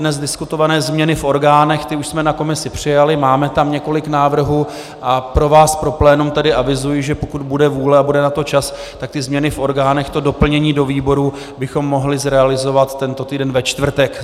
Dnes diskutované změny v orgánech, ty už jsme na komisi přijali, máme tam několik návrhů a pro vás, pro plénum, tedy avizuji, že pokud bude vůle a bude na to čas, tak ty změny v orgánech, to doplnění do výborů, bychom mohli zrealizovat tento týden ve čtvrtek.